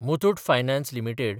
Muthoot finance limited